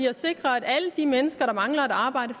at sikre at alle de mennesker der mangler et arbejde